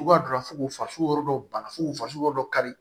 Cogoya dɔ la fo k'u fasugu yɔrɔ dɔ bana fu faso dɔ kari